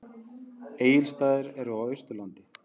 Egilsstaðir eru á Austurlandi.